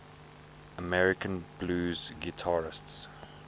american blues guitarists